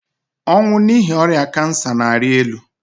ọnwụ n'ihi ọrịa kansa na-arị elu